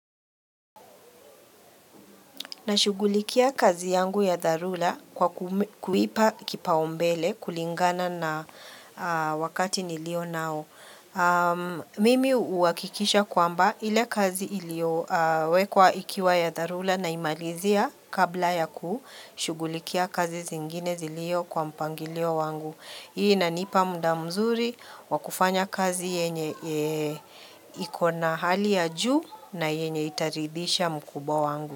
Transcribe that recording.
Na shughulikia kazi yangu ya dharula kwa kuipa kipaombele kulingana na wakati nilio nao. Mimi uhakikisha kwamba ile kazi ilio wekwa ikiwa ya dharula na imalizia kabla ya ku shughulikia kazi zingine zilio kwa mpangilio wangu. Hii inanipa mda mzuri wakufanya kazi yenye ikona hali ya juu na yenye itaridhisha mkubwa wangu.